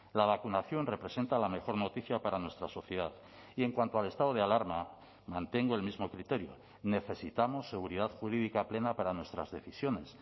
la vacunación representa la mejor noticia para nuestra sociedad y en cuanto al estado de alarma mantengo el mismo criterio necesitamos seguridad jurídica plena para nuestras decisiones